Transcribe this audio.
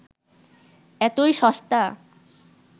এতই সস্তা